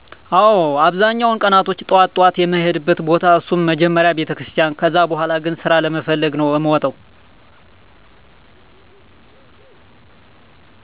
አወ አብዛኛዉን ቀናቶች ጠዋት ጠዋት የሚሄድበት ቦታ እሱም መጀመሪያ ቤተክርስቲያን ከዛ በሁላ ግን ስራ ለመፈለግ ነዉ እምወጣዉ።